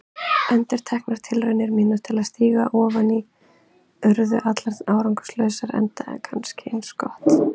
Endurteknar tilraunir mínar til að stíga ofan í urðu allar árangurslausar, enda kannski eins gott.